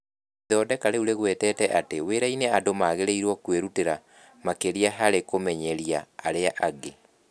Ithondeka rĩu rĩgwetete atĩ wĩra-inĩ andũ magĩrĩirũo kwĩrutĩra makĩria harĩ kũmenyeria arĩa angĩ.